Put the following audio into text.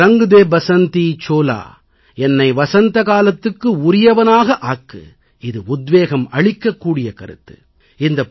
மேரா ரங் தே பஸந்தி சோலா என்னை வசந்தகாலத்துக்கு உரியவனாக ஆக்கு இது உத்வேகம் அளிக்க கூடிய கருத்து